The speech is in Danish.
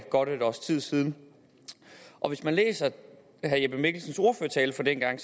godt et års tid siden og hvis man læser herre jeppe mikkelsens ordførertale fra dengang